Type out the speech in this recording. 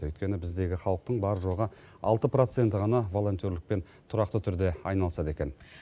өйткені біздегі халықтың бар жоғы алты проценті ғана волонтерлікпен тұрақты түрде айналысады екен